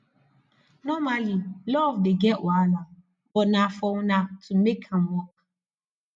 normally luv dey get wahala but na for una to mek am wok